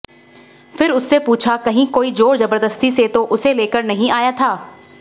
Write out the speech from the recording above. फिर उससे पूछा कहीं कोई जोर जबरदस्ती से तो उसे लेकर नहीं आया था